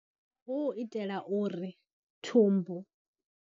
Hu u itela uri thumbu.